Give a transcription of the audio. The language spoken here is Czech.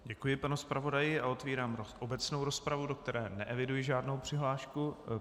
Děkuji panu zpravodaji a otevírám obecnou rozpravu, do které neeviduji žádnou přihlášku.